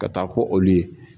Ka taa ko olu ye.